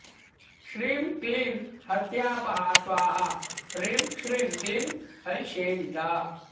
श्रीं क्लीं हत्यापहा स्वाहा ह्रीं श्रीं क्लीं हरिसेविता